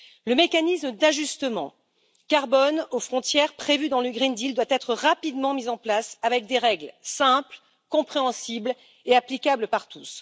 Le mécanisme d'ajustement carbone aux frontières, prévu dans le pacte vert, doit être rapidement mis en place, avec des règles simples, compréhensibles et applicables par tous.